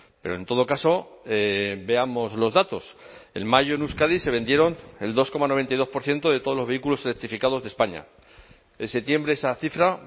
pero en todo caso veamos los datos en mayo en euskadi se vendieron el dos coma noventa y dos por ciento de todos los vehículos electrificados de españa en septiembre esa cifra